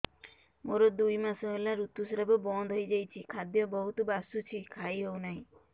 ମୋର ଦୁଇ ମାସ ହେଲା ଋତୁ ସ୍ରାବ ବନ୍ଦ ହେଇଯାଇଛି ଖାଦ୍ୟ ବହୁତ ବାସୁଛି ଖାଇ ହଉ ନାହିଁ